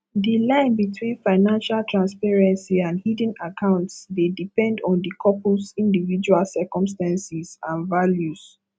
di line between financial transparency and hidden accounts dey depend on di couples individual circumstances and values